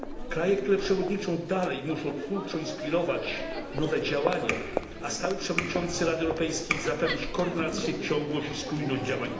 Kraje, które przewodniczą dalej muszą twórczo inspirować nowe działania, a stały przewodniczący Rady Europejskiej zapewnić koordynację, ciągłość i spójność działań Unii.